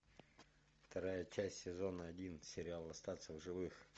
вторая часть сезона один сериал остаться в живых